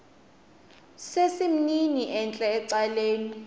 sesimnini entla ecaleni